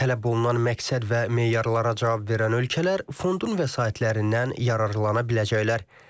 Tələb olunan məqsəd və meyarlara cavab verən ölkələr fondun vəsaitlərindən yararlana biləcəklər.